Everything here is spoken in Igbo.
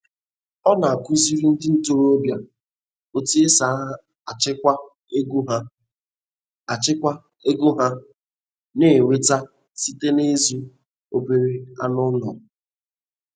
Ọ na-akụziri ndị ntorobịa otu esi achịkwa ego ha achịkwa ego ha na-enweta site n’ịzụ obere anụ ụlọ.